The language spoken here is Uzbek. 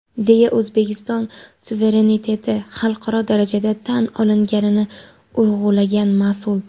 deya O‘zbekiston suvereniteti xalqaro darajada tan olinganini urg‘ulagan mas’ul.